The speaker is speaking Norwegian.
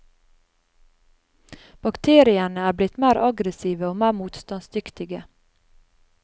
Bakteriene er blitt mer aggressive og mer motstandsdyktige.